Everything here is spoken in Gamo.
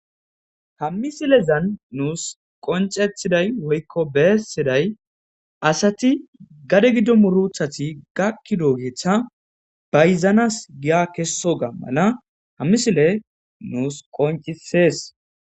Ha missilezan nuus qonc'c'ettiday woykko bessiyay asati gade giddo muurutati gakkidogeta bayzanas giya kessidogana ha missiley nuus qonc'c'isses.